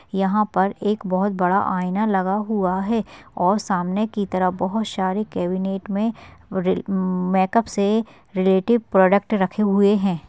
यहा पर एक बहुत बड़ा आयना लगा हुआ है और सामने की तरफ बहुत सारे केवीनेट मे रे मेकअप से रिलेटिव प्रॉडक्ट रखे हुए है।